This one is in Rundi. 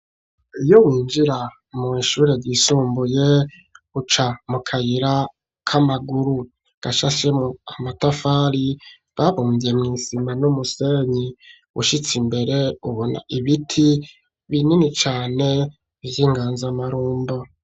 Iyo winjira mw'ishure ryisumbuye, uca mu kayira k'amaguru, gashashemwo amatafari babumvye mw'isima n'umusenyi. Ushitse imbere ubona ibiti binini cane vy'inganzamarundo.